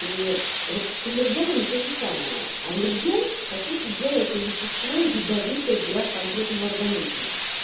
и вот с аллергенами то же самое аллерген по сути делает это вещество ядовитое для конкретного организма